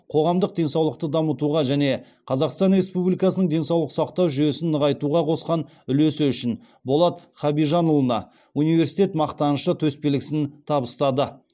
қоғамдық денсаулықты дамытуға және қазақстан республикасының денсаулық сақтау жүйесін нығайтуға қосқан үлесі үшін болат хабижанұлына университет мақтанышы төсбелгісін табыстады